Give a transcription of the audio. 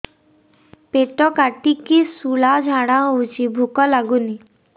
ପେଟ କାଟିକି ଶୂଳା ଝାଡ଼ା ହଉଚି ଭୁକ ଲାଗୁନି